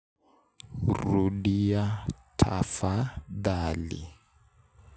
Rudia tafadhali.